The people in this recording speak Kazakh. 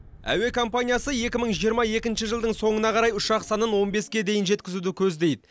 әуе компаниясы екі мың жиырма екінші жылдың соңына қарай ұшақ санын он беске дейін жеткізуді көздейді